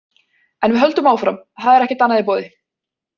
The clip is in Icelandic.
En við höldum áfram, það er ekkert annað í boði.